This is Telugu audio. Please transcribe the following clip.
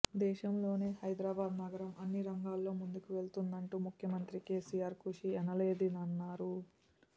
దేశంలోనే హైదరాబాద్ నగరం అన్ని రంగాల్లో ముందుకు వెళుతుందంటూ ముఖ్యమంత్రి కెసిఆర్ కృషి ఎనలేనిదన్నారు